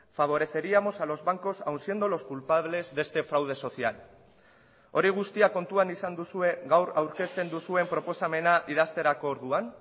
favoreceríamos a los bancos aun siendo los culpables de este fraude social hori guztia kontuan izan duzue gaur aurkezten duzuen proposamena idazterako orduan